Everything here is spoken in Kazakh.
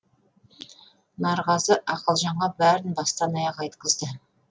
нарғазы ақылжанға бәрін бастан аяқ айтқызды